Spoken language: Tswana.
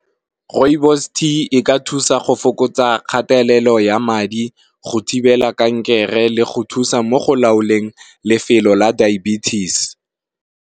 Rooibos tea e ka thusa go fokotsa kgatelelo ya madi go thibela kankere le go thusa mo go laoleng lefelo la diabetes.